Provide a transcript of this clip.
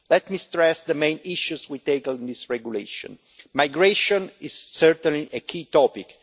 Let me stress the main issues we take on this regulation migration is certainly a key topic.